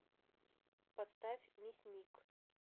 поставь мясник